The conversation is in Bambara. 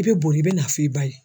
I bɛ boli i bɛ n'a f'i ba ye.